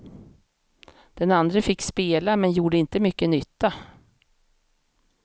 Den andre fick spela, men gjorde inte mycket nytta.